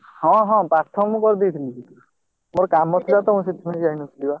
ହଁ ହଁ ପାଠ ମୁଁ କରିଦେଇଥିଲି। ମୋର କାମ ଥିଲା ତ ମୁଁ ସେଇଥିପାଇଁ ଯାଇ ନଥିଲି ବା।